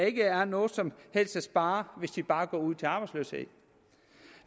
ikke er noget som helst at spare hvis de bare går ud til arbejdsløshed